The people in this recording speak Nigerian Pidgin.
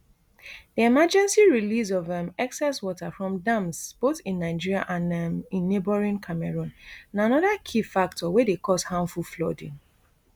di emergency release of um excess water from dams both in nigeria and um in neighbouring cameroon na anoda key factor wey dey cause harmful flooding